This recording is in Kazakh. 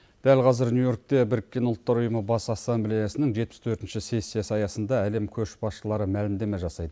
дәл қазір нью йоркте біріккен ұлттар ұйымы бас ассамблеясының жетпіс төртінші сессиясы аясында әлем көшбасшылары мәлімдеме жасайды